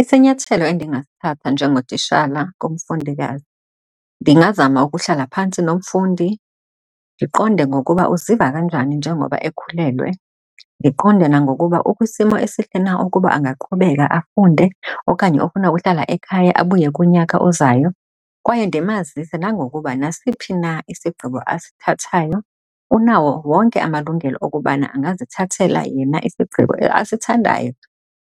Isinyathelo endingasithatha njengotishala kumfundikazi, ndingazama ukuhlala phantsi nomfundi ndiqonde ngokuba uziva kanjani njengoba ekhulelwe ndiqonde, nangokuba ukwisimo esihle na ukuba angaqhubeka afunde okanye ofuna uhlala ekhaya abuye kunyaka ozayo. Kwaye ndimazise nangokuba nasiphi na isigqibo asithathayo unawo wonke amalungelo okubana angazithathela yena isigqibo asithandayo